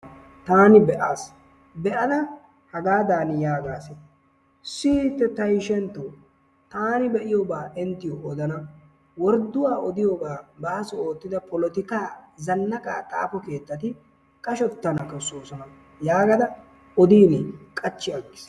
Tani beasi. beada hagaadan yaagas. siyite ta ishentto tani beiyoba inttiyo odana. wordduwaa odiyoga baaso ottida polotika zannaqa xaafo keettati qashshettana beesosona yaagada odin qachchiyagiis.